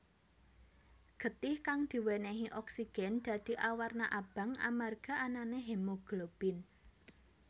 Getih kang diwènèhi oksigen dadi awarna abang amarga anané hemoglobin